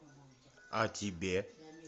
а тебе